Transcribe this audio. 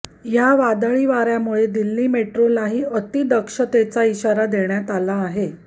या वादळी वाऱ्यामुळे दिल्ली मेट्रोलाही अतिदक्षतेचा इशारा देण्यात आला आहे